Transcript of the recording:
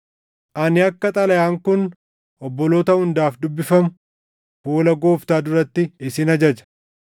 Ani akka xalayaan kun obboloota hundaaf dubbifamu fuula Gooftaa duratti isin ajaja.